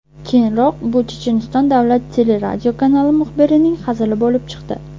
Keyinroq bu Checheniston davlat teleradiokanali muxbirining hazili bo‘lib chiqdi.